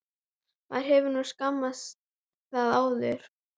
Maður hefur nú smakkað það áður.